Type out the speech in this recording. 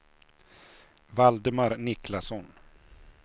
Valdemar Niklasson